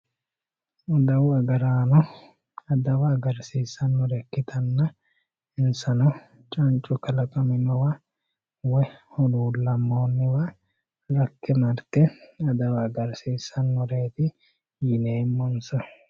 adawu agaraano adawa agarsiissannore ikkitanna insano cancu kalaqaminowa woyi huluullammoonniwa rakke marte adawa agarsiissanoreeti yineemmonsa.